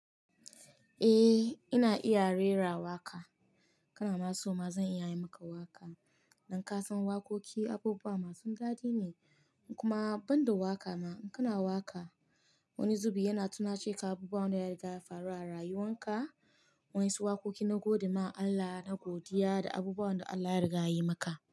Eh ina iya rera waƙa, kana ma so ma zan iya yi maka waƙa. Don kasan waƙoƙi abubuwa masu daɗi ne, kuma banda waƙa ma, kana waƙa wani zubi yana tunace ka abubuwan da ya faru a rayuwan ka, wasu waƙoƙi na godiya ma Allah da abubuwan da Allah ya riga yi maka.